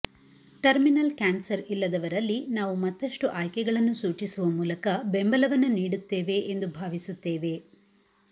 terminal cancer ಇಲ್ಲದವರಲ್ಲಿ ನಾವು ಮತ್ತಷ್ಟು ಆಯ್ಕೆಗಳನ್ನು ಸೂಚಿಸುವ ಮೂಲಕ ಬೆಂಬಲವನ್ನು ನೀಡುತ್ತೇವೆ ಎಂದು ಭಾವಿಸುತ್ತೇವೆ